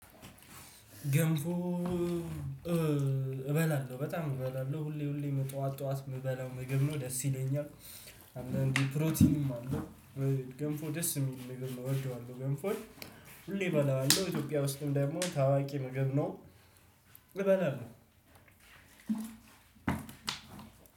ገንፎ እበላለሁ በጣም እበላለሁ ሁሌ ሁሌ ጧት ጧት ምበላው ምግብ ነው ደስ ይለኛል። አንዳንዴ ፕሮቲንም አለው። ገንፎ ደስ የሚል ምግብ ነው ወደዋለሁ ገንፎን። ሁሌ እበላዋለሁ ኢትዮጵያ ውስጥም ደግሞ ታዋቂ ምግብ ነው። እበላለው።